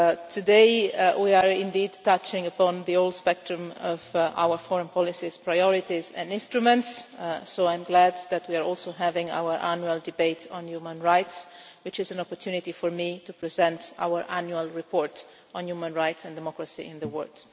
Today we are indeed touching upon the old spectrum of our foreign policies, priorities and instruments, so I am glad that we are also having our annual debate on human rights, which is an opportunity for me to present our annual report on human rights and democracy in the world.